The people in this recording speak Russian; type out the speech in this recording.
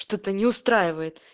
что-то не устраивает